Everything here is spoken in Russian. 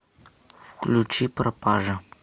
включи пропажа